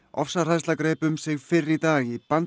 ofsahræðsla greip um sig fyrr í dag í